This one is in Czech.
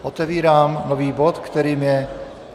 Otevírám nový bod, kterým je